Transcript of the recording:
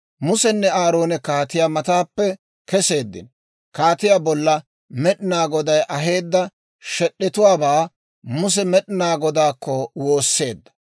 Musenne Aaroone kaatiyaa mataappe kesseeddino; kaatiyaa bolla Med'inaa Goday aheedda shed'd'etuwaabaa Muse Med'inaa Godaakko woosseedda.